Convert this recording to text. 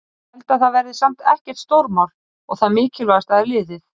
Ég held að það verði samt ekkert stórmál og það mikilvægasta er liðið.